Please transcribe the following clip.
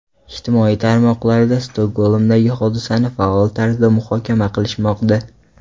Ijtimoiy tarmoqlarda Stokgolmdagi hodisani faol tarzda muhokama qilishmoqda.